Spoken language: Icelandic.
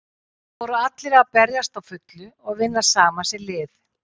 Þá voru allir að berjast á fullu og vinna saman sem lið.